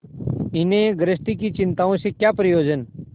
इन्हें गृहस्थी की चिंताओं से क्या प्रयोजन